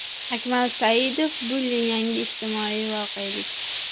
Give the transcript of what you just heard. Akmal Saidov: Bulling yangi ijtimoiy voqelik.